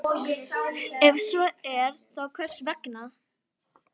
Ef svo er, þá hvers vegna?